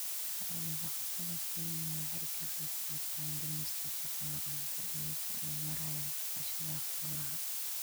Xoolo-dhaqatada Kenya waxay ka qayb-qaataan dhimista shaqo-la'aanta iyagoo u maraya dhaqashada xoolaha.